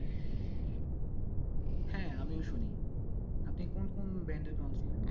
হ্যাঁ আমিও শুনি আপনি কোন কোন band এর গান শুনেন?